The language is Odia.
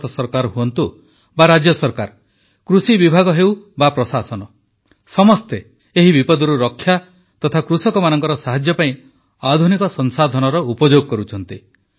ଭାରତ ସରକାର ହୁଅନ୍ତୁ ବା ରାଜ୍ୟ ସରକାର କୃଷିବିଭାଗ ହେଉ ବା ପ୍ରଶାସନ ସମସ୍ତେ ଏହି ବିପଦରୁ ରକ୍ଷା ତଥା କୃଷକମାନଙ୍କର ସାହାଯ୍ୟ ପାଇଁ ଆଧୁନିକ ସଂସାଧନର ଉପଯୋଗ କରୁଛନ୍ତି